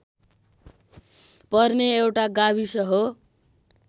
पर्ने एउटा गाविस हो